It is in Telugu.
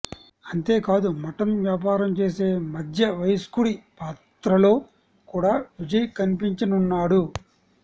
అంతేకాదు మటన్ వ్యాపారం చేసే మధ్య వయస్కుడి పాత్రలో కూడా విజయ్ కనిపించనున్నాడు